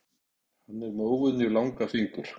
Hann er með óvenjulega langa fingur.